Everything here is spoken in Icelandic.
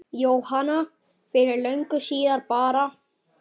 Jóhanna: Fyrir löngu síðan bara?